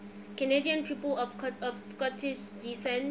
canadian people of scottish descent